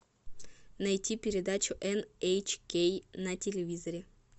найти передачу эн эйч кей на телевизоре